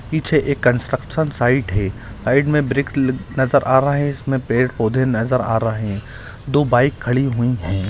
पीछे एक construction site है साइड में ब्रेक नजर आ रहे है इसमे पेड़-पौधे नजर आ रहे है दो बाइक खड़ी हुई है।